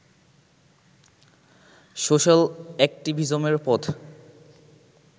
social অ্যাক্টিভিজমের পথ